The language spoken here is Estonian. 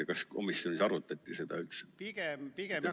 Ja kas komisjonis arutati seda üldse?